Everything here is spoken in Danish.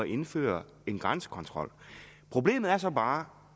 indføre en grænsekontrol problemet er så bare